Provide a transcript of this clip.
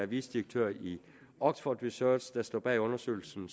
vicedirektør i oxford research der står bag undersøgelsen